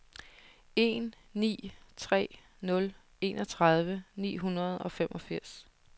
en ni tre nul enogtredive ni hundrede og femogfirs